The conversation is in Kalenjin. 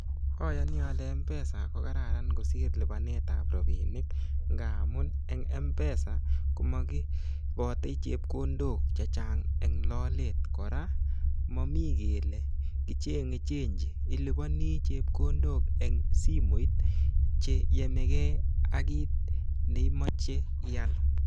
Oyoni ole Mpesa ko kararan kosir lipanetap rabinik ngamun en Mpesa komokiibote chepkondok chechang' en lolet kora momi kele kicheng'e chenji iliponi chepkondok en simoit cheyomegei ak kit neimoche ial.